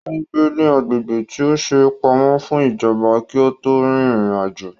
Ò ń gbé ní agbègbè tí a ṣe pamọ́ fún ìjọba kí ó tó rin ìrìn àjò